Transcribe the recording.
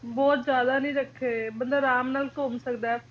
ਬਹੁਤ ਜ਼ਿਆਦਾ ਨੀ ਰੱਖੇ ਹੋਏ ਬੰਦਾ ਅਰਾਮ ਨਾਲ ਘੁੰਮ ਸਕਦਾ ਘੱਟ ਪੈਸਿਆਂ ਤੇ ਵੀ